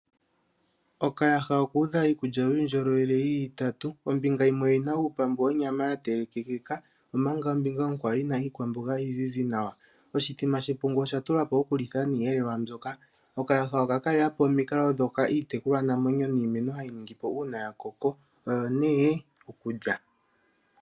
Okayaha oku udha iikulya yuundjolowele itatu, ombinga yimwe oyu udha iipambu yonyama ya telekekeka, omanga ombinga onkwawo yina iikwamboga iizizi nawa, oshithima shepungu osha tulwa po oku litha niiyelelwa mbyoka. Okayaha oka kalela po omikalo ndhoka iitekulwa namwenyo niimeno hayi ningi po uuna ya koko, oyo nee okulya.